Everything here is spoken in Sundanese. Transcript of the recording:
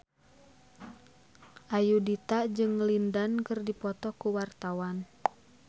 Ayudhita jeung Lin Dan keur dipoto ku wartawan